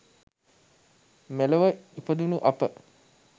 මෙලොව ඉපදුණු අප